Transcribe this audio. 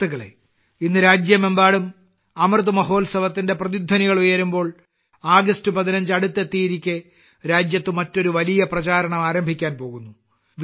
സുഹൃത്തുക്കളേ ഇന്ന് രാജ്യമെമ്പാടും അമൃത് മഹോത്സവത്തിന്റെ പ്രതിധ്വനികളുയരുമ്പോൾ ആഗസ്റ്റ് 15 അടുത്തെത്തിയിരിക്കെ രാജ്യത്ത് മറ്റൊരു വലിയ പ്രചാരണം ആരംഭിക്കാൻ പോകുന്നു